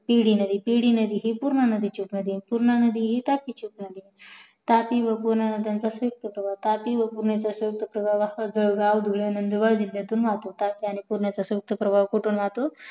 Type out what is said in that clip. पिडी नदी पिडी नदी ही पूर्णा नदीची उपनदी आहे आणि पूर्णा नदी ही तापी ची उपनदी आहे तापी व पूर्णा नद्यांचा प्रवाह कसं वाहतो जळगाव नंदुरबार जिल्ह्यातून वाहतो तापी आणि पूर्णा यांचा प्रवाह कुठून वाहतो